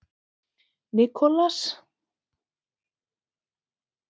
Nicolas